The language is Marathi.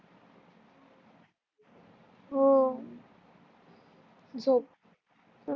हो झोप